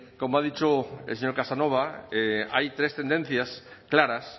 como ha dicho el señor casanova hay tres tendencias claras